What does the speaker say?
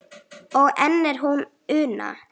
og enn er hún Una